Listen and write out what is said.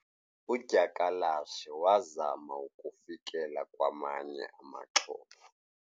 Udyakalashe wazama ukufikelela kwamanye amaxhoba.